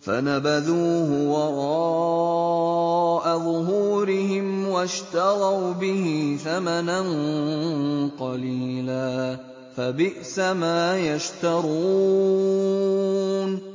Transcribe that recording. فَنَبَذُوهُ وَرَاءَ ظُهُورِهِمْ وَاشْتَرَوْا بِهِ ثَمَنًا قَلِيلًا ۖ فَبِئْسَ مَا يَشْتَرُونَ